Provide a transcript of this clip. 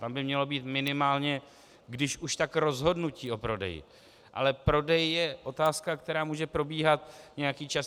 Tam by mělo být minimálně když už tak rozhodnutí o prodeji, ale prodej je otázka, která může probíhat nějaký čas.